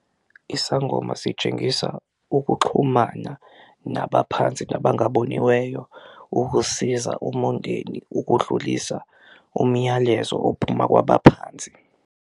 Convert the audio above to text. Isangoma sitshengisa ukuxhumana nabaphansi nabangaboniweyo ukusiza umundeni ukudlulisa umyalezo ophuma kwabaphansi.